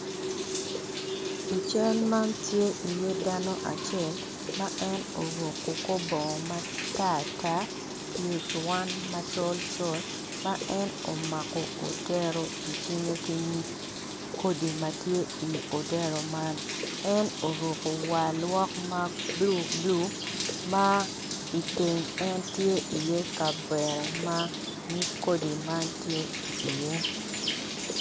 I cal man tye iye dano acel ma en oruko kor bongo ma taryar ki pyere macolcol ma en omako dero i cinge ki kodi ma tye iodero man en oruko war lwok man bulu ma i teng en tye kavera ma nyig kodi man tye iye.